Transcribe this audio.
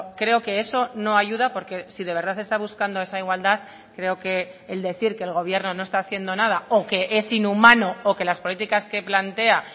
creo que eso no ayuda porque si de verdad está buscando esa igualdad creo que el decir que el gobierno no está haciendo nada o que es inhumano o que las políticas que plantea